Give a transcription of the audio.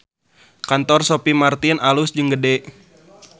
Kantor Sophie Martin alus jeung gede